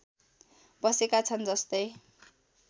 बसेका छन् जस्तै